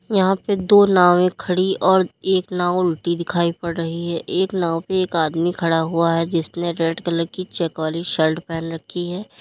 यहां पे दो नावे खड़ी और एक नाव उल्टी दिखाई पड़ रही है एक नाव पे एक आदमी खड़ा हुआ है जिसने रेड कलर की चेक वाली शर्ट पहन रखी है।